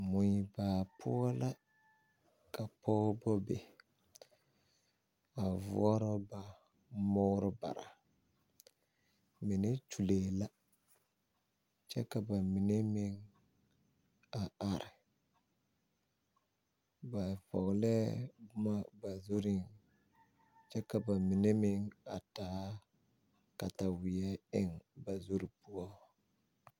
Mui baa poʊ la ka pogeba be. A voora ba muore bara. Mene kyulee la. Kyɛ ka bamene meŋ a are. Ba vogleɛ boma ba zureŋ kyɛ ka ba mene meŋ a taa katawie eŋ ba zure poʊ